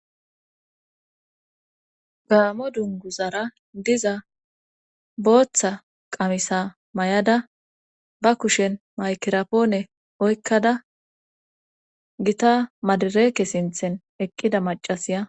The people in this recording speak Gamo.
Gaamo dunguzara diza booththa qamisa may7ada ba kushen maykirapoone oykkada gita madireeke sinthen eqqida macasiya.